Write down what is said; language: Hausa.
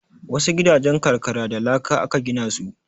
Wasu gidajen karkara da laka aka gina su